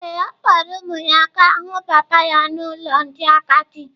Ee, ọ kpọọrọ ụmụ ya gaa hụ papa ya n’ụlọ ndị agadi.